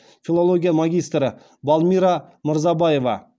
филология магистрі балмира мырзабаева